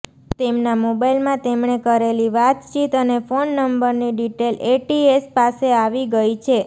તેમના મોબાઇલમાં તેમણે કરેલી વાતચીત અને ફોન નંબરની ડિટેઇલ એટીએસ પાસે આવી ગઇ છે